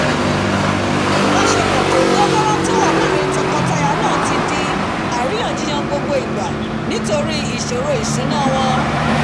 ìbásepò tódán mórán tí ó wà láàrin tokọ-taya náà ti di àríyànjiyàn gbogbo ìgbà nítorí ìsòrò ètò ìsúnà wòṇ